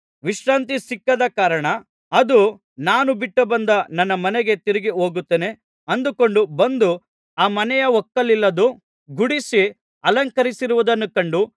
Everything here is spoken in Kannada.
ವಿಶ್ರಾಂತಿ ಸಿಕ್ಕದ ಕಾರಣ ಅದು ನಾನು ಬಿಟ್ಟು ಬಂದ ನನ್ನ ಮನೆಗೆ ತಿರುಗಿ ಹೋಗುತ್ತೇನೆ ಅಂದುಕೊಂಡು ಬಂದು ಆ ಮನೆ ಒಕ್ಕಲಿಲ್ಲದ್ದೂ ಗುಡಿಸಿ ಅಲಂಕರಿಸಿರುವುದನ್ನು ಕಂಡು